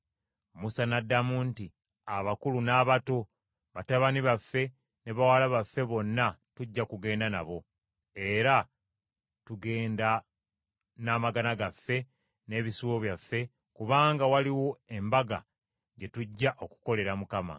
Musa n’addamu nti, “Abakulu n’abato, batabani baffe ne bawala baffe bonna tujja kugenda nabo; era tugenda n’amagana gaffe n’ebisibo byaffe, kubanga waliwo embaga gye tujja okukolera Mukama .”